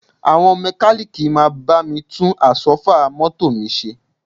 Àwọn mẹ́kalíìkì máa bá mi tún Àsọ́fà mọ́tò mi ṣe